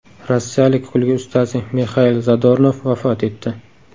Rossiyalik kulgi ustasi Mixail Zadornov vafot etdi.